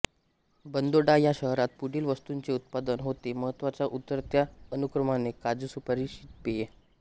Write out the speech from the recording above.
बांदोडा ह्या शहरात पुढील वस्तूंचे उत्पादन होते महत्त्वाच्या उतरत्या अनुक्रमाने काजू सुपारी शीत पेये